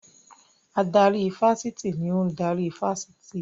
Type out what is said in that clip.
Adarí ifásitì ni ò ń darí ifásitì